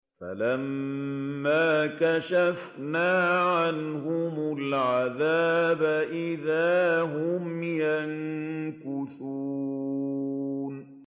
فَلَمَّا كَشَفْنَا عَنْهُمُ الْعَذَابَ إِذَا هُمْ يَنكُثُونَ